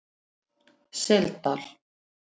Seldal